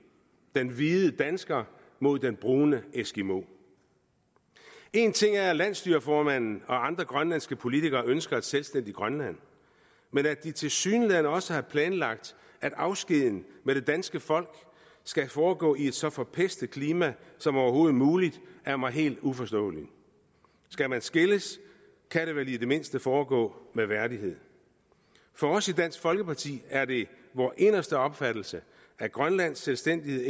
den hvide dansker mod den brune eskimo en ting er at landsstyreformanden og andre grønlandske politikere ønsker et selvstændigt grønland men at de tilsyneladende også har planlagt at afskeden med det danske folk skal foregå i et så forpestet klima som overhovedet muligt er mig helt uforståeligt skal man skilles kan det vel i det mindste foregå med værdighed for os i dansk folkeparti er det vores inderste opfattelse at grønlands selvstændighed